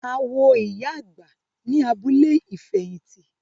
A wo ìyá àgbà ní abúlé ìfẹ̀hìtì.